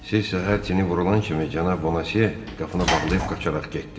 Siz səhər tiri vurulan kimi cənab Bonasiye qapını bağlayıb qaçaraq getdi.